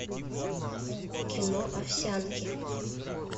кино овсянки